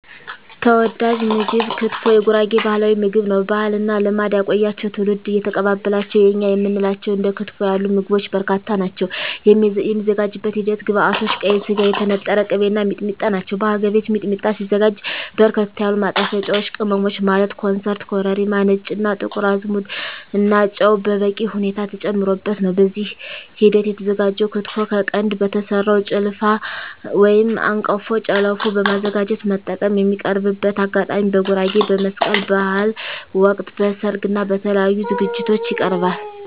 ተወዳጅ ምግብ ክትፎ የጉራጌ ባህላዊ ምግብ ነው። ባህልና ልማድ ያቆያቸው ትውልድ እየተቀባበላቸው የእኛ የምንላቸው እንደ ክትፎ ያሉ ምግቦች በርካታ ናቸው። የሚዘጋጅበት ሂደት ግብዐቶች ቀይ ስጋ, የተነጠረ ቅቤ , እና ሚጥሚጣ ናቸው። በሀገር ቤት ሚጥሚጣ ሲዘጋጅ በርከት ያሉ ማጣፈጫወች ቅመሞች ማለት ኮሰረት , ኮረሪማ , ነጭ እና ጥቁር አዝሙድ እና ጨው በበቂ ሁኔታ ተጨምሮበት ነው። በዚህ ሂደት የተዘጋጀው ክትፎ ከቀንድ በተሰራው ጭልፋ/አንቀፎ ጨለፎ በማዘጋጀት መጠቀም። የሚቀርብበት አጋጣሚ በጉራጌ በመስቀል በሀል ወቅት, በሰርግ እና በተለያዪ ዝግጅቶች ይቀርባል።።